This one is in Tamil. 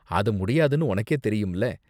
அது முடியாதுனு உனக்கே தெரியும்ல.